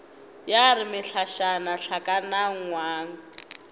ya re mehlašana hlakana ngwang